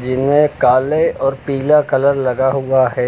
जिनमें काले और पीला कलर लगा हुआ है।